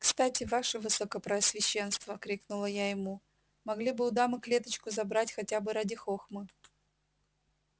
кстати ваше высокопреосвященство крикнула я ему могли бы у дамы клеточку забрать хотя бы ради хохмы